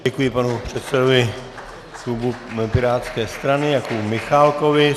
Děkuji panu předsedovi klubu pirátské strany Jakubu Michálkovi.